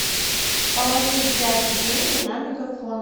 положи дяде деньги на мегафон